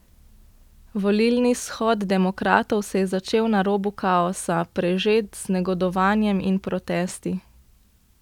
Volilni shod demokratov se je začel na robu kaosa, prežet z negodovanjem in protesti.